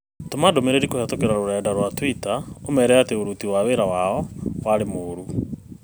Tũma ndũmĩrĩri kũhītũkīra rũrenda rũa tũita ũmeera atĩ m ũruti wira wao aarĩ mũũru